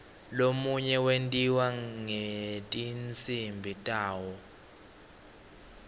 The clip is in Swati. lomunye wentiwa ngetinsimbi tawo